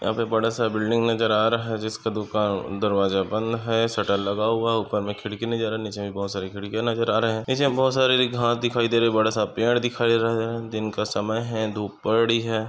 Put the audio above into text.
यहाँ पे बड़ा सा बिल्डिंग नजर आ रहा है जिसका दुकान दरवाजा बंद है शटर लगा हुआ ऊपर मे खिड़की की नजर आरी नीचे भी बहुत सारी खिड़कीया नजर आ रहे है नीचे बहुत सारी हरी-हरी घास दिखाई दे री बड़ा सा पेड़ दिखाई रही बडा सा पेड़ दिखाई दिनका समय है धुप पड़ी है।